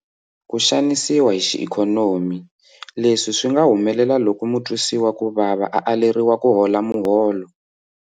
Ku xanisiwa hi xiikhonomi- Leswi swi nga humelela loko mutwisiwakuvava a aleriwa kuhola muholo.